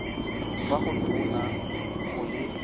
kwa go tona go le